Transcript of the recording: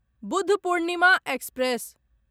Budh Purnima express